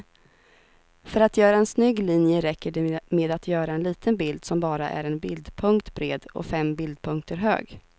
För att göra en snygg linje räcker det med att göra en liten bild som bara är en bildpunkt bred och fem bildpunkter hög.